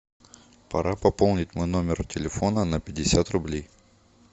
пора пополнить мой номер телефона на пятьдесят рублей